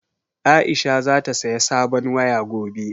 Aisha za ta saya sabon waya gobe